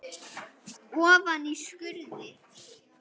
Ofan í skurði.